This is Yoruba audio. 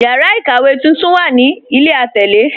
Yàrà ikówe tuntun wà ní ilẹ̀ atẹlè.